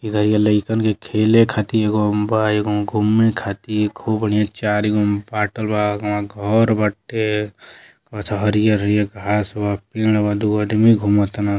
ऐजा लइकन के खेले खातिर एगो बा एगो घूमे खातिर खूब बढ़िया चार गो में बाटल बा। अगवा घर बाटे। अच्छा हरियर हरियर घांस बा पेड़ बा दुगो आदमी घुमा ताड़न।